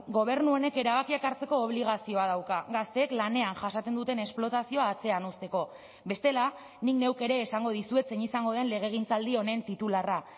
gobernu honek erabakiak hartzeko obligazioa dauka gazteek lanean jasaten duten esplotazioa atzean uzteko bestela nik neuk ere esango dizuet zein izango den legegintzaldi honen titularra